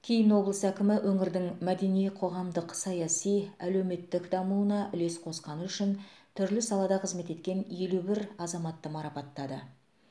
кейін облыс әкімі өңірдің мәдени қоғамдық саяси әлеуметтік дамуына үлес қосқаны үшін түрлі салада қызмет еткен елу бір азаматты марапаттады